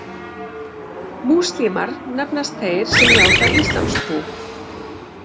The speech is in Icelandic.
Múslímar nefnast þeir sem játa íslamstrú.